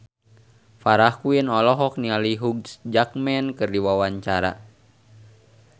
Farah Quinn olohok ningali Hugh Jackman keur diwawancara